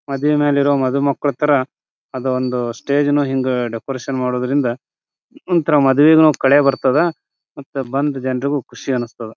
ಮದುವೆನಲ್ಲಿರೋ ಮಧುಮಕ್ಕಳ ತರ ಅದೊಂದು ಸ್ಟೇಜ್ಅನ್ನ ಹಿಂಗೇ ಡೆಕೋರೇಷನ್ ಮಾಡೋದ್ರಿಂದ ಏನೋ ಒಂತರ ಮದುವೆಗೂ ಕಳೆ ಬರ್ತದಾ ಮತ್ ಬಂದ್ ಜನರಿಗೂ ಖುಷಿ ಅನುಸ್ತಾದ.